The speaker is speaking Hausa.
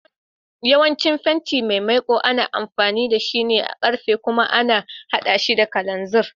Yawancin fenti mai maiƙu ana amfani da shi a karfe kuma ana haɗa shi da kalanziri.